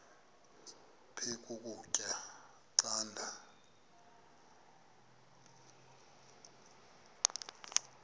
aphek ukutya canda